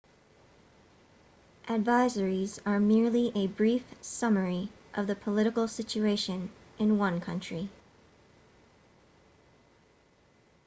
advisories are merely a brief summary of the political situation in one country